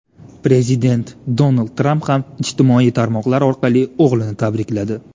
Prezident Donald Tramp ham ijtimoiy tarmoqlar orqali o‘g‘lini tabrikladi.